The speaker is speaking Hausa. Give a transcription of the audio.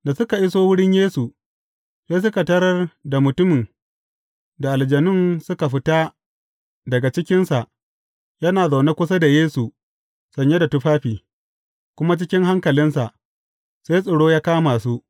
Da suka iso wurin Yesu, sai suka tarar da mutumin da aljanun suka fita daga cikinsa, yana zaune kusa da Yesu sanye da tufafi, kuma cikin hankalinsa, sai tsoro ya kama su.